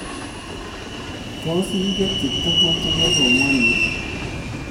Tos igetyi tuguk chegesoman?